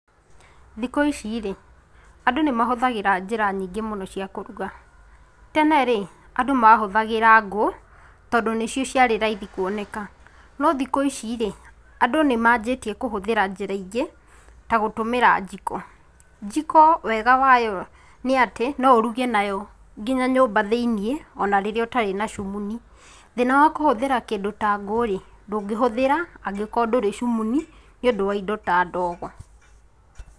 Thikũ ici rĩ, andũ nĩmahũthagĩra njĩra nyingĩ mũno cia kũruga. Tene rĩ andũ mahũthagĩra ngũ tondũ nĩcio ciarĩ raithi kwoneka. No thikũ ici rĩ, andũ nĩmanjĩtie kũhũthira njĩra ingĩ ta gũtũmĩra njiko. njiko wega wayo nĩatĩ no ũruge nayo nginya nyumba thĩinĩ ona rĩrĩa ũtarĩ na cumunĩ, thina wa kũhũthĩra kindũ ta ngũ rĩ, ndũngĩhũthĩra angĩkorwo ndũrĩ cimunĩ nĩũndũ wa indo ta ndogo.